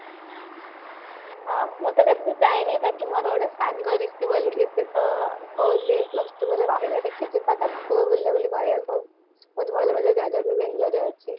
ଆଁ ମୁଁ ତ କେବେ ଯାଇନି ବାକି ମୋର ଗୋଟେ ସାଙ୍ଗ ରିଷି ବୋଲିକି ସେତ ପଳେଇଛି plus two ପରେ ଦେଖି ଯିବା ତ ପାଖକୁ ବୁଲାବୁଲି କରିବାକୁ ବହୁତ ଭଲ ଭଲ ଜାଗା ବି ବାଙ୍ଗାଲୋର ରେ ଅଛି